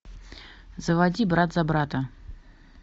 заводи брат за брата